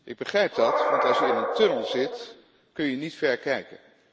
Ik begrijp dat want als je in een tunnel zit kun je niet ver kijken.